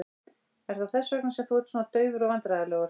Er það þess vegna sem þú ert svona daufur og vandræðalegur?